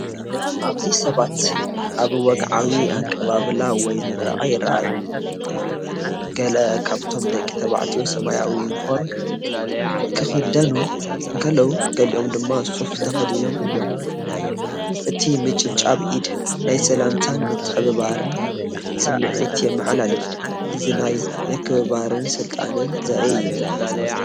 ኣብዚ ሰባት ኣብ ወግዓዊ ኣቀባብላ ወይ ምረቓ ይረኣዩ። ገለ ካብቶም ደቂ ተባዕትዮ ሰማያዊ ዩኒፎርም ክኽደኑ እንከለዉ ገሊኦም ድማ ሱፍ ተኸዲኖም እዮም። እቲ ምጭብባጥ ኢድ ናይ ሰላምታን ምትሕብባርን ስምዒት የመሓላልፍ። እዚ ናይ ምክብባርን ስልጣንን ዘርኢ እዩ።